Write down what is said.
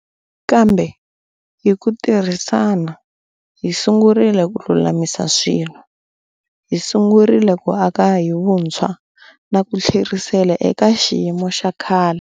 Kambe, hi ku tirhisana, hi sungurile ku lulamisa swilo. Hi sungurile ku aka hi vuntshwa na ku tlherisela eka xiyimo xa khale.